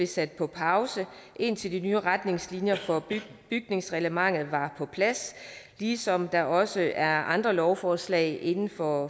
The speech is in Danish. sat på pause indtil de nye retningslinjer for bygningsreglementet var på plads ligesom der også er andre lovforslag inden for